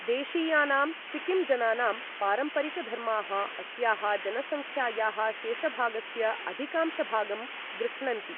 देशीयानां सिक्किम् जनानां पारम्परिकधर्माः, अस्याः जनसङ्ख्यायाः शेषभागस्य अधिकांशभागं गृह्णन्ति।